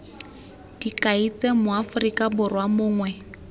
dikai tse moaforika borwa mongwe